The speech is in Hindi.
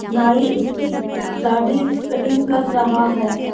नाई उसकी दाढी कटिंग कर रहा है।